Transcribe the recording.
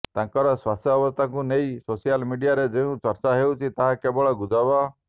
ତାଙ୍କର ସ୍ୱାସ୍ଥ୍ୟବସ୍ଥାକୁ ନେଇ ସୋସିଆଲ ମିଡିଆରେ ଯେଉଁ ଚର୍ଚ୍ଚା ହେଉଛି ତାହା କେବଳ ଗୁଜବ